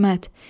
İsmət.